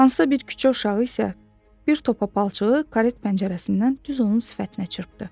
Hansısa bir küçə uşağı isə bir topa palçığı karet pəncərəsindən düz onun sifətinə çırpdı.